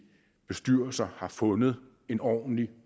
bestyrelser har fundet en ordentlig